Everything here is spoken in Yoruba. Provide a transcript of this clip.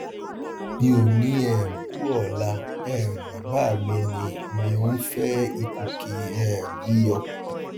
mi ò ní um kú ọlá um bàbá mi ni mi ń fẹ ìkù kì um í yọ